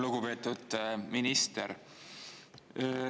Lugupeetud minister!